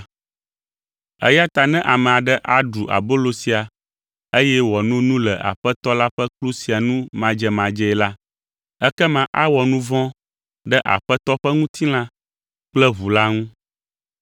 Eya ta ne ame aɖe aɖu abolo sia eye wòano nu le Aƒetɔ la ƒe kplu sia nu madzemadzee la, ekema awɔ nu vɔ̃ ɖe Aƒetɔ ƒe ŋutilã kple ʋu la ŋu.